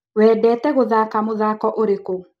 Wendete gũthaka mũthako ũrĩkũ?